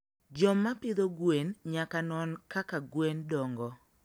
Joma pidho gwen nyaka non kaka gweno dongo.